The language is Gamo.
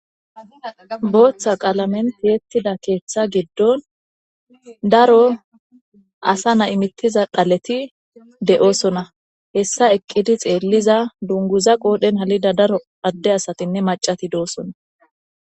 Booththa qaalamentiyettida keeththa giddon daro asa na imittiza dhaleti de'oosona hessa eqqidi xeelliza dunguza qoodhen halida daro adde asatinne macati doosona.